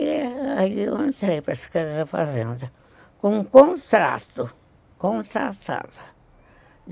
E aí eu entrei para a Secretaria da Fazenda com um contrato, contratada.